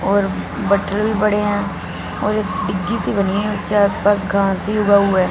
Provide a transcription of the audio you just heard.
और मटेरियल पड़े हैं और एक डिगी सी भी बनी है उसके आस पास घास ही उगा हुआ हैं।